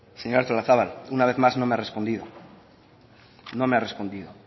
señora artolazabal una vez más no me ha respondido no me ha respondido